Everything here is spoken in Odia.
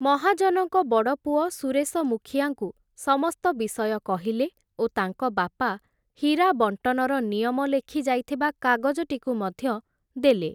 ମହାଜନଙ୍କ ବଡ଼ପୁଅ ସୁରେଶ ମୁଖିଆଙ୍କୁ ସମସ୍ତ ବିଷୟ କହିଲେ ଓ ତାଙ୍କ ବାପା ହୀରା ବଂଟନର ନିୟମ ଲେଖି ଯାଇଥିବା କାଗଜଟିକୁ ମଧ୍ୟ ଦେଲେ ।